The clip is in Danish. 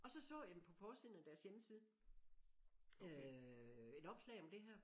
Og så så jeg jamen på forsiden af af deres hjemmeside øh et opslag om det her